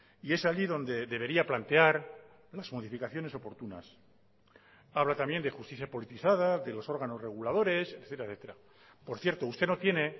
y es allí donde debería plantear las modificaciones oportunas habla también de justicia politizada de los órganos reguladores etcétera por cierto usted no tiene